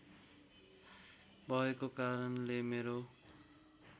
भएको कारणले मेरो